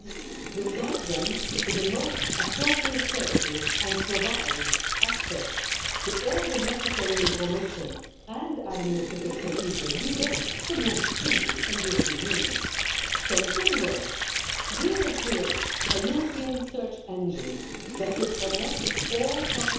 As we all know, the single market is a cornerstone of the European Union, but we observe that when crossing borders, many European citizens and companies still experience a jungle